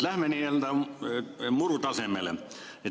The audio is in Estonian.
Lähme nii-öelda muru tasemele.